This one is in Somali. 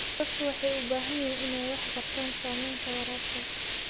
Dadku waxay u baahan yihiin inay wax ka bartaan saamaynta waraabka.